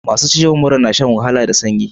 Masu ciwon mura na shan wahala da sanyi.